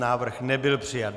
Návrh nebyl přijat.